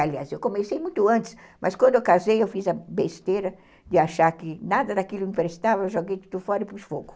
Aliás, eu comecei muito antes, mas quando eu casei, eu fiz a besteira de achar que nada daquilo me prestava, eu joguei tudo fora e pus fogo.